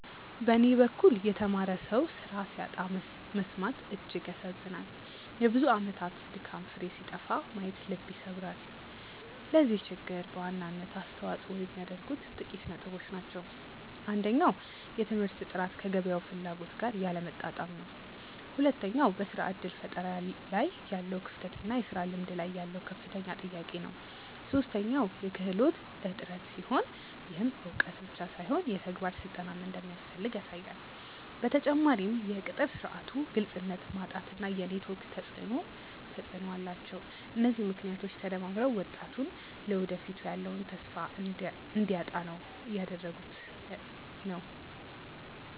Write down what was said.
በኔ በኩል የተማረ ሰው ስራ ሲያጣ መሰማት እጅግ ያሳዝናል የብዙ አመታት ድካም ፍሬ ሲጠፋ ማየት ልብ ይሰብራል። ለዚህ ችግር በዋናነት አስተዋጽኦ የሚያደርጉት ጥቂት ነጥቦች ናቸው። አንደኛው የትምህርት ጥራት ከገበያው ፍላጎት ጋር ያለመጣጣም ነው። ሁለተኛው በስራ እድል ፈጠራ ላይ ያለው ክፍተት እና የስራ ልምድ ላይ ያለው ከፍተኛ ጥያቄ ነው። ሶስተኛው የክህሎት እጥረት ሲሆን፣ ይህም እውቀት ብቻ ሳይሆን የተግባር ስልጠናም እንደሚያስፈልግ ያሳያል። በተጨማሪም የቅጥር ስርዓቱ ግልጽነት ማጣት እና የኔትወርክ ተፅእኖ ተፅእኖ አላቸው። እነዚህ ምክንያቶች ተደማምረው ወጣቱ ለወደፊቱ ያለውን ተስፋ እንዲያጣ እያደረጉት ነው።